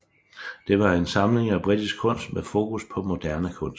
Det var en samling af britisk kunst med fokus på moderne kunst